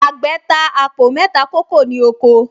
Àgbẹ̀̀ ta àpò mẹ́ta kókò ní oko